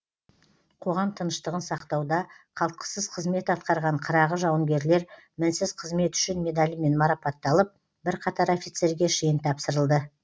қоғам тыныштығын сақтауда қалтқысыз қызмет атқарған қырағы жауынгерлер мінсіз қызметі үшін медалімен марапатталып бірқатар офицерге шен тапсырылды